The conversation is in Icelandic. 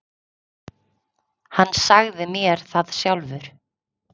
Hann sagði mér það sjálfur.